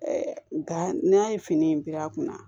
nka n'a ye fini in bil'a kunna